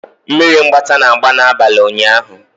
Mmiri mgbata na-agba n'abalị ụnyaahụ.